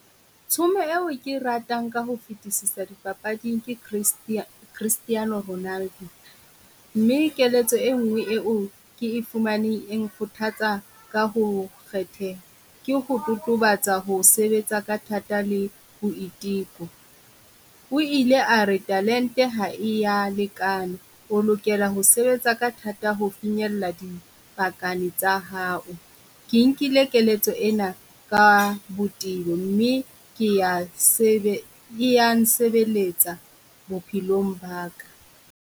Tshomo eo ke ratang ka ho fitisisa dipapading , Cristiano Ronaldo, mme keletso e nngwe eo ke e fumaneng eng kgothatsa ka ho kgethe ke ho totobatsa ho sebetsa ka thata le boiteko. O ile a re talente ha ya lekana, o lokela ho sebetsa ka thata ho finyella dipakana tsa hao. Ke nkile keletso ena ka botebo mme ke ya , e yang sebeletsa bophelong ba ka.